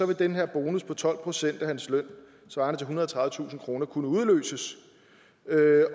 vil den her bonus på tolv procent af hans løn svarende til ethundrede og tredivetusind kroner kunne udløses